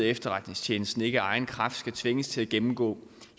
efterretningstjenesten samtidig ikke af egen kraft skal tvinges til at gennemgå